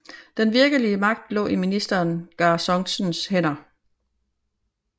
Den virkelige magt lå i ministeren Gar Songtsens hænder